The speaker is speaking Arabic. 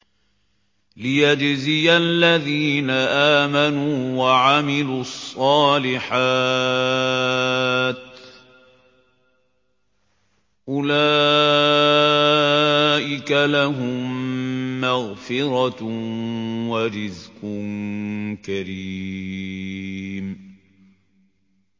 لِّيَجْزِيَ الَّذِينَ آمَنُوا وَعَمِلُوا الصَّالِحَاتِ ۚ أُولَٰئِكَ لَهُم مَّغْفِرَةٌ وَرِزْقٌ كَرِيمٌ